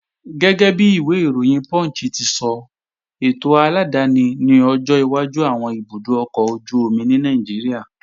Gẹ́gẹ́bi ìwé ìròyìn Punch ti sọ, ètò aládáni ni ọjọ́ iwájú àwọn ibùdó ọkọ̀ ojú-omi ní Nàìjíríà